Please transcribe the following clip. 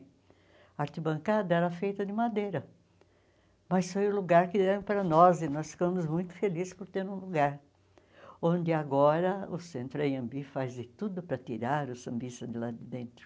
A arquibancada era feita de madeira, mas foi o lugar que deram para nós, e nós ficamos muito felizes por ter um lugar, onde agora o Centro Anhembi faz de tudo para tirar os sambistas de lá de dentro.